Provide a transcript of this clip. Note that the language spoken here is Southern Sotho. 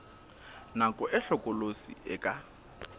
nako e hlokolosi e ka